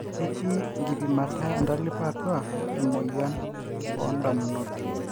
ketii enkipimata entalipa atua emoyia oo ndamunot